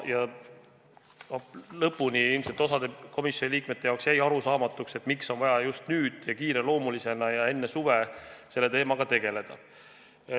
Ilmselt osa komisjoni liikmete jaoks jäigi arusaamatuks, miks on vaja just nüüd, enne suve ja kiireloomulisena selle teemaga tegeleda.